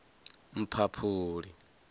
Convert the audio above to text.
mphaphuli